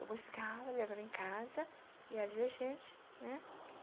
Eu buscava, levava em casa, e ali a gente, né?